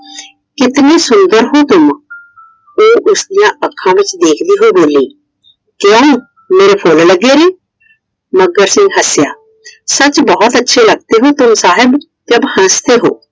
कितने सूंदर हो तुम । ਉਹ ਉਸਦੀਆਂ ਅੱਖਾਂ ਵਿੱਚ ਦੇਖਦੇ ਹੋਏ ਬੋਲੀ। ਕਿਉਂ ਮੇਰੇ ਫੁੱਲ ਲੱਗੇ ਨੇ ਮੱਘਰ ਸਿੰਘ ਹੱਸਿਆ। सच बहुत अच्छे लगते हो साहब जब हस्ते हो ।